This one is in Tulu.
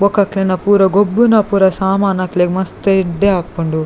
ಬೊಕ ಅಕ್ಲೆನ ಪೂರ ಗೊಬ್ಬುನ ಪೂರ ಸಾಮನ್ ಅಕ್ಲೆಗ್ ಮಸ್ತ್ ಎಡ್ಡೆ ಆಪುಂಡು.